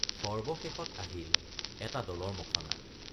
সৰ্বশেষত আহিল এটা দলৰ মখনা।